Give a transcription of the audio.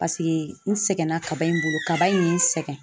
Paseke n sɛgɛnna kaba in bolo, kaba in ye n sɛgɛn .